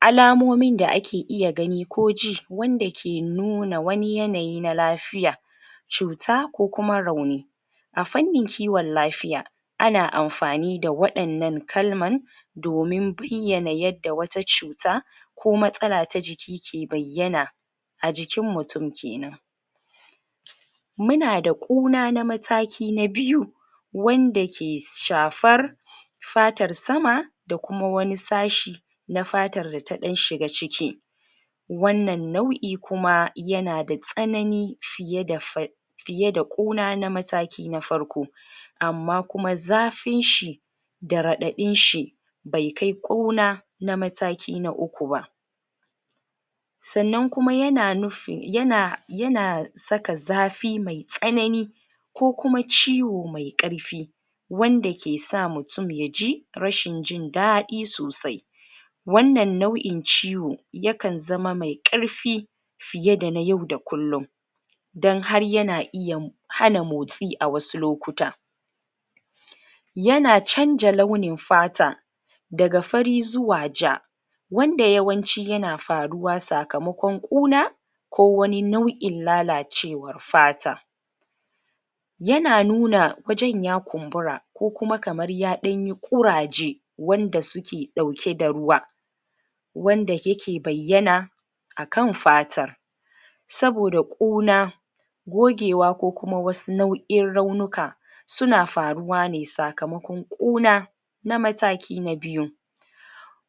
alamomin da ake iya gani koji wanda ke nuna wani yanayi na lafiya cuta ko kuma rauni afannin kiwon lafiya ana anfani da waɗannan kalman domin bayyana yad da wata cuta ko matsala ta jiki ke bayyana ajikin mutun kenan muna da kona na mataki na biyu wanda ke shafar fatar sama da kuma wani sashi na fatar da taɗan shiga ciki wannan nau'i kuma yanada tsanani fiye da fa fiye da ƙuna na mataki na farko amma kuma zafin shi da raɗaɗin shi bai kai ƙuna na mataki na uku ba sanan kuma yana nufin yana yana sak zafi ai tsanani ko kuma ciwo mai ƙarfi wanda ke sa mutun yaji rashin jin daɗi sosai wanan nau'in ciwo yakan zama mai ƙarfi piye da na yau da kullun dan har yana iya hana motsi awasu lokuta yana canja launin fata daga fari zuwa ja wanda yawanci yana faruwa sakamakon ƙuna kowani nau'in lalacewar fata yana nuna wajen ya kumbura ko kuma kamar ya ɗanyi ƙuraje wanda suke ɗauke da ruwa wanda yake bayyana akan fatar saboda ƙuna gogewa ko kuma wasu nau'in raunuka suna faruwa ne sakamakon ƙuna na mataki na biyu